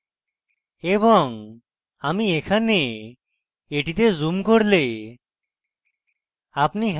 এবং আমি এখানে এটিতে zoom করলে